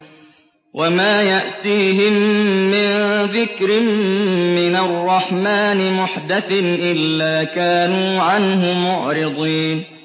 وَمَا يَأْتِيهِم مِّن ذِكْرٍ مِّنَ الرَّحْمَٰنِ مُحْدَثٍ إِلَّا كَانُوا عَنْهُ مُعْرِضِينَ